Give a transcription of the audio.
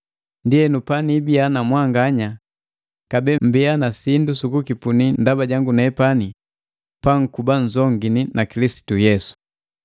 Ndienu paniibiya na mwanganya kabee mmbiya na sindu sukukipunila ndaba jangu nepani pankubanzongini na Kilisitu Yesu.